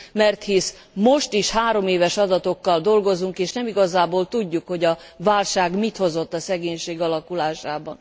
Mert hisz most is három éves adatokkal dolgozunk, és nem igazából tudjuk, hogy a válság mit hozott a szegénység alakulásában.